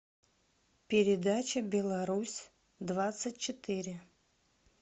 передача беларусь двадцать четыре